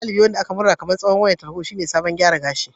Gashin dabi'a wanda aka murɗe kamar tsohuwar wayar tarho shine salon gyara gashi